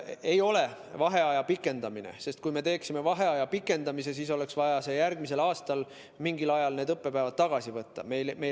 See ei ole vaheaja pikendamine, sest kui me pikendaksime vaheaega, siis oleks vaja järgmisel aastal mingil ajal need õppepäevad ära teha.